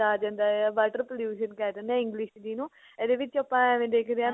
ਆ ਜਾਂਦਾ ਹੈ water pollution ਕਹਿ ਦਿੰਦੇ ਹਾਂ english ਚ ਜਿਹਨੂੰ ਇਹਦੇ ਵਿੱਚ ਆਪਾ ਐਵੇਂ ਦੇਖਦੇ ਹਾਂ ਕਿ